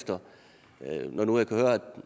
ud af